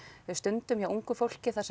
stundum hjá ungu fólki þar sem